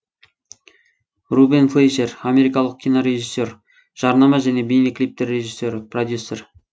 рубен флейшер америкалық кинорежиссер жарнама және бейнеклиптер режиссері продюсер